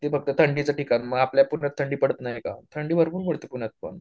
ते एक फक्त थंडीचे ठिकाण मग आपल्या पुण्यात थंडी पडत नाही का थंडी भरपूर पडते पुण्यात पण